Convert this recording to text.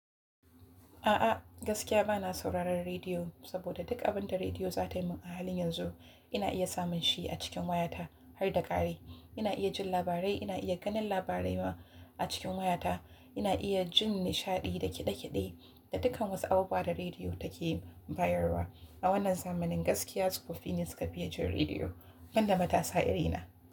A'a gaskiya bana sauraron rediyo, saboda duk abin da rediyo za ta min a halin yanzu ina iya samun shi a cikin wayata har da ƙari. Ina iya jin labarai, ina iya ganin labarai ma a cikin wayata, ina iya jin nishaɗi da kiɗe-kiɗe da dukkan wasu abubuwan da rediyo take bayarwa. A wannan zamanin gaskiya tsofaffi ne suka fiiye jin rediyo, ban da matasa irina.